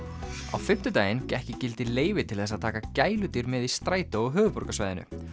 á fimmtudaginn gekk í gildi leyfi til þess að taka gæludýr með í strætó á höfuðborgarsvæðinu